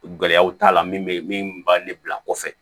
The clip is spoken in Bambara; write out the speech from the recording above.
Gɛlɛyaw t'a la min bɛ min b'a ne bila kɔfɛ